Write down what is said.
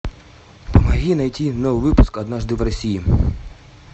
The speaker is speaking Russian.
помоги найти новый выпуск однажды в россии